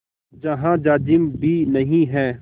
जहाँ जाजिम भी नहीं है